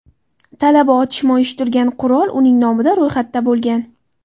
Talaba otishma uyushtirgan qurol uning nomida ro‘yxatda bo‘lgan.